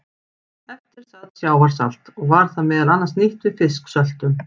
Eftir sat sjávarsalt og var það meðal annars nýtt við fisksöltun.